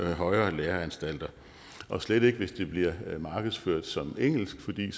højere læreanstalter og slet ikke hvis det bliver markedsført som engelsk fordi